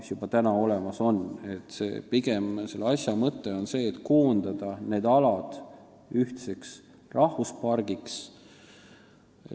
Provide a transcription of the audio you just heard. Selle asja mõte on pigem see, et koondada need alad ühtseks rahvuspargiks.